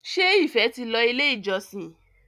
ṣe ìfé tí ló ilé ìjósìn?